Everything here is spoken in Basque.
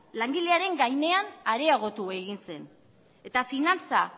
langilearen gainean areagotu egin zen eta finantza